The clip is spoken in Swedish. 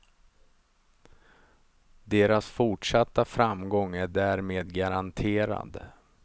Deras fortsatta framgång är därmed garanterad.